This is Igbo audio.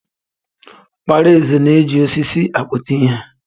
Okpara eze na-eji osisi akputa ihe.